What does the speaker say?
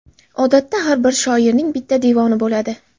Odatda har bir shoirning bitta devoni bo‘ladi.